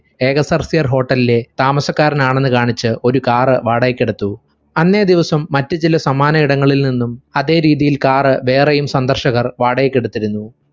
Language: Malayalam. ഏകസർഫിയർ hotel ലെ താമസക്കാരനാണെന്നു കാണിച്ചു ഒരു car വാടകയ്‌ക്കെടുത്തു അന്നേ ദിവസം മറ്റു ചില സമാന ഇടങ്ങളിൽ നിന്നും അതെ രീതിയിൽ car വേറെയും സന്ദർശകർ വാടകയ്ക്ക് എടുത്തിരുന്നു